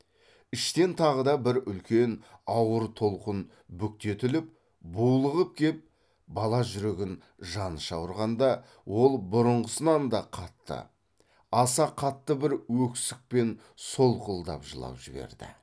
іштен тағы да бір үлкен ауыр толқын бүктетіліп булығып кеп бала жүрегін жаныша ұрғанда ол бұрынғысынан да қатты аса қатты бір өксікпен солқылдап жылап жіберді